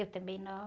Eu também nova.